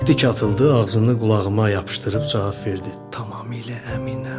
Tik atıldı, ağzını qulağıma yapışdırıb cavab verdi: Tamamilə əminəm.